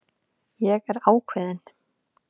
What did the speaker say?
Ég er ákveðin.